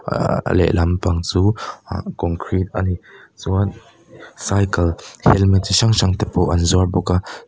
ahhh a leh lampang chu concrete a ni chuan cycle helmet chi hrang hrang te pawh an zuar bawk a.